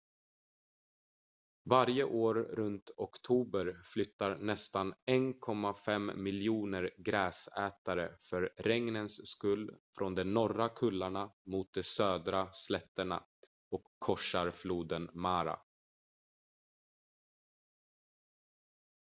varje år runt oktober flyttar nästan 1,5 miljoner gräsätare för regnens skull från de norra kullarna mot de södra slätterna och korsar floden mara